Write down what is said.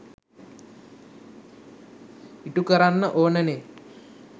ඉටුකරන්න ඕනනේ.